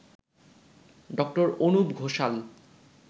ড. অনুপ ঘোষাল